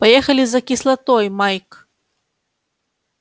поехали за кислотой майк